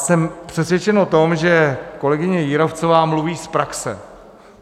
Jsem přesvědčen o tom, že kolegyně Jírovcová mluví z praxe.